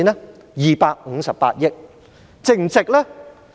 是258億元。